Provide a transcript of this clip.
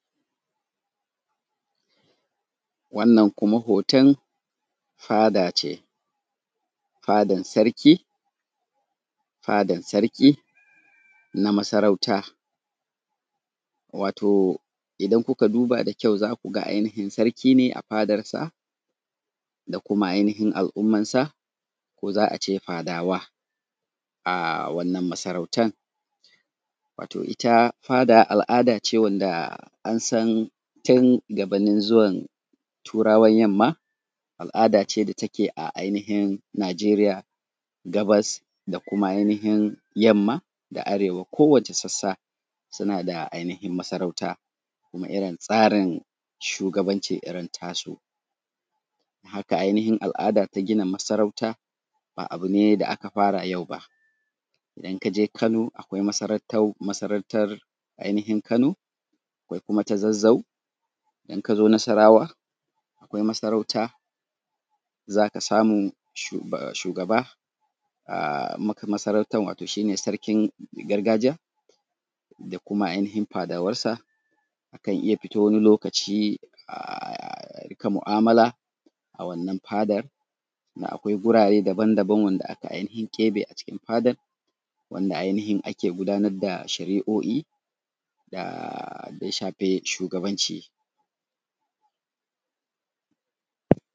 Wannan kuma foton fada ce, fadan sarki, fadan sarki na masarauta, wato idan kuka duba da kyau zaku ga ainihin sarki ne a fadansa da kuma ainihin al’ummansa ko za a ce fadawa aa wannan masarautan, wato ita fada al’adace wanda an san tun gabanin zuwan turawan yamma al’ada ce da take a ainihin nijeriya gabas da kuma ainihin yamma, da arewa kowa ce sassa suna da ainihin masarauta kuma irin tsarin shugabanci irin tasu. Haka ainihin al’ada ta gina masarauta ba abu ne da aka fara yau ba, idan kaje Kano akwai masaratau masarautar ainihin Kano akwai kuma ta Zazzau in ka zo nasarawa akwai masarauta zaka samu shugaba aa masarauta wato shi ne sarkin gargajiya da kuma ainihin fadawansa akan iya fito wani lokaci aaa rinƙa mu’amala a wannan fadar, akwai gurare dabam dabam wanda aka ainihin keɓe a cikin fadan wanda ainihin ake gudanar da shari’o’i da aaa ya shafi shugabanci.